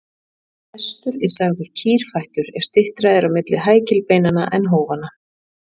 Hestur er sagður kýrfættur ef styttra er á milli hækilbeinanna en hófanna.